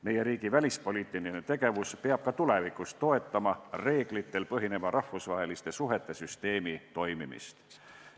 Meie riigi välispoliitiline tegevus peab ka tulevikus toetama reeglitel põhineva rahvusvaheliste suhete süsteemi toimimist.